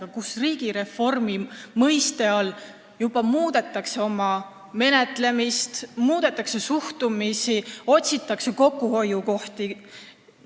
On selgunud, et riigireformi raames juba muudetakse menetlemist ja suhtumist, otsitakse kokkuhoiukohti.